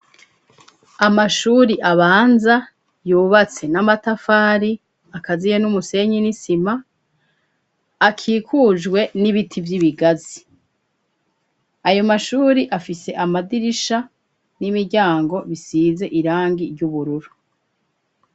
Amashuri abanza yubatswe n'amatafari akaziye n'umusenyi n'isima akikujwe n'ibiti vy'ibigazi. Ayo mashure afise amadirisha n'imiryango isize irangi ry'ubururu.